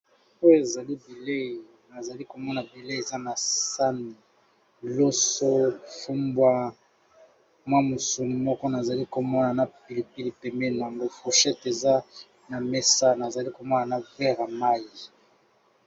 oyo ezalibilei nazali komona bilei eza na sani loso fumbwa mwamusuni moko nazali komona na pilipili peme nanbo foushete eza na mesa nazali komona na vera mai